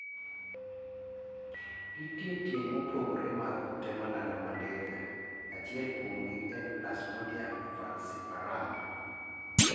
Nitie tieng' mopogore mag kute malando malaria achiel kuomgi en plasmodium falciparum